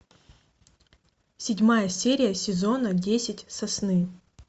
седьмая серия сезона десять сосны